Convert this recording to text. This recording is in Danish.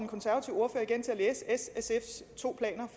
læse s og sfs to planer